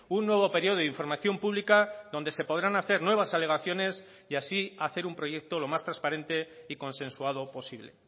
un nuevo periodo de información pública donde se podrán hacer nuevas alegaciones y así hacer un proyecto lo más transparente y consensuado posible